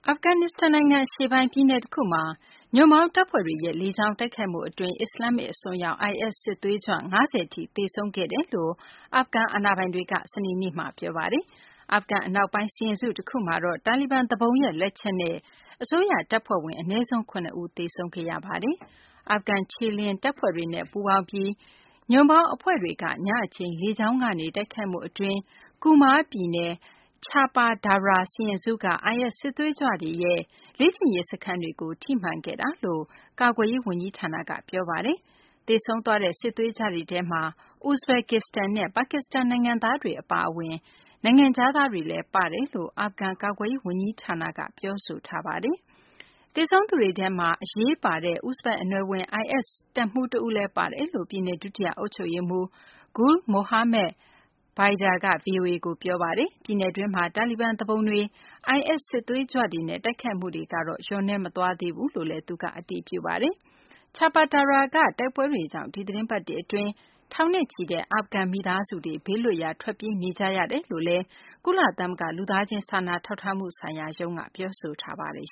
ာဖဂန်နစ္စတန် နိုင်ငံ အရှေ့ပိုင်း ပြည်နယ်တခုမှာ ညွန့်ပေါင်းတပ်ဖွဲ့တွေရဲ့ လေကြောင်းတိုက်ခိုက်မှု အတွင်း အစ္စလာမ္မစ် အစွန်းရောက် IS စစ်သွေးကြွ ၅၀ ထိ သေဆုံးခဲ့ကြောင်း အာဖဂန် အာဏာပိုင်တွေက စနေနေ့မှာ ပြောဆိုပါတယ်။ အာဖဂန် အနောက်ပိုင်း စီရင်စု တခုမှာတော့ တာလီဘန် သူပုန်ရဲ့ လက်ချက်နဲ့ အစိုးရ တပ်ဖွဲ့ဝင် အနည်းဆုံး ၇ ဦး သေဆုံးခဲ့ရပါတယ်။ အာဖဂန် ခြေလျင်တပ်ဖွဲ့တွေနဲ့ ပူးပေါင်းပြီး ညွန့်ပေါင်းအဖွဲ့တွေက ညအချိန် လေကြောင်းကနေ တိုက်ခိုက်မှု အတွင်း Kunar ပြည်နယ်က Cahpa Darah စီရင်စုက IS စစ်သွေးကြွတွေရဲ့ လေ့ကျင့်ရေး စခန်းတွေကို ထိမှန်ခဲ့တာလို့ ကာကွယ်ရေး ဝန်ကြီးဌာနက ပြောပါတယ်။ သေဆုံးသွားတဲ့ စစ်သွေးကြွတွေထဲမှာ ဥဇဘက္ကစ္စတန်နဲ့ ပါကစ္စတန် နိုင်ငံသားတွေ အပါအဝင် နိုင်ငံခြားသားတွေလည်း ပါတယ်လို့ အာဖဂန် ကာကွယ်ရေး ဝန်ကြီးဌာနက ပြောဆိုထားပါတယ်။ သေဆုံးသူတွေထဲမှာ အရေးပါတဲ့ ဥဇဘက် အနွယ် IS တပ်မှူး တဦးလည်း ပါတယ်လို့ ပြည်နယ် ဒုတိယ အုပ်ချုပ်ရေးမှူး Gul Mohammad Baidar က ဗွီအိုအေကို ပြောပါတယ်။ ပြည်နယ်တွင်းမှာ တာလီဘန် သူပုန်တွေ၊ IS စစ်သွေးကြွတွေနဲ့ တိုက်ခိုက်မှုတွေကတော့ လျော့နည်းမသွားဘူးလို့လည်း သူက အတည်ပြုပါတယ်။ Chapa Darah က တိုက်ပွဲတွေကြောင့် ဒီသီတင်းပတ်တွေ အတွင်း ထောင်နဲ့ချီတဲ့ အာဖဂန် မိသားစုတွေ ဘေးလွတ်ရာ ထွက်ပြေးနေကြ ရတယ်လု့ိလည်း ကုလသမဂ္ဂ လူသားချင်းစာနာထောက်ထားမှု ဆိုင်ရာရုံးက ပြောဆိုထားပါတယ်